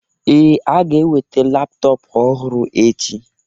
Ee, a ga-eweta laptọọpụ ọhụrụ echi.